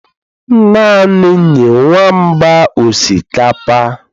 Naanị nye nwamba osikapa